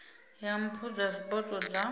ya mpho dza zwipotso dza